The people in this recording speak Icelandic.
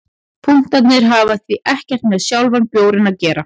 Punktarnir hafa því ekkert með sjálfan bjórinn að gera.